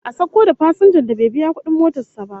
A sauko da fasinjar da bai biya kudin motar sa ba